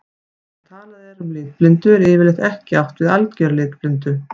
Þegar talað er um litblindu er yfirleitt ekki átt við að algera litblindu.